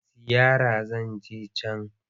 Ziyara zan je can.